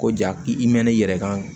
Ko ja i mɛnna i yɛrɛ kan